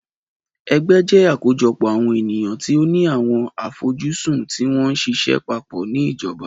Ẹgbẹ́ jẹ àkójọpọ̀ àwọn ènìyàn tí ó ni àwọn àfojúsùn tí wọ́n ṣiṣẹ́ papọ̀ ni ìjọba.